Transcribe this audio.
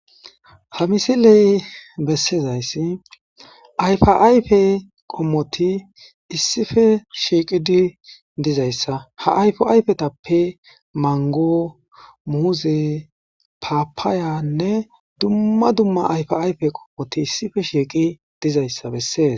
ha misiley bessizayssi ayfa ayfe qommoti issife shiiqidi dizayssa ha ayfo ayfetappe mango muuzi papaayanne dumma dumma ayfa ayfe qommoti issife shiiqi dizayssa bessees